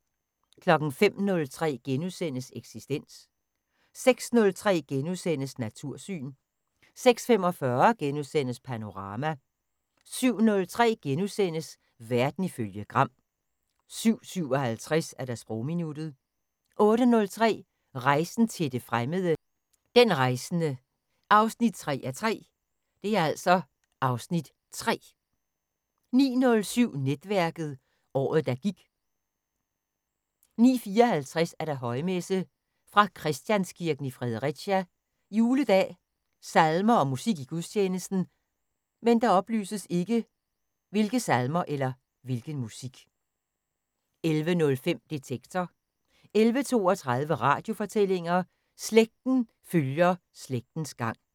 05:03: Eksistens * 06:03: Natursyn * 06:45: Panorama * 07:03: Verden ifølge Gram * 07:57: Sprogminuttet 08:03: Rejsen til det fremmede: Den rejsende 3:3 (Afs. 3) 09:07: Netværket: Året, der gik 09:54: Højmesse - fra Christianskirken i Fredericia. Juledag. Salmer: Musik i gudstjenesten: 11:05: Detektor 11:32: Radiofortællinger: Slægten følger slægtens gang